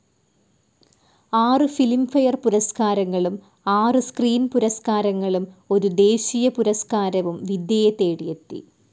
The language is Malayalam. ആറു ഫിലിംഫെയർ പുരസ്കാരങ്ങളും ആറു സ്ക്രീൻ പുരസ്കാരങ്ങളും ഒരു ദേശീയപുരസ്കാരവും വിദ്യയെ തേടിയെത്തി.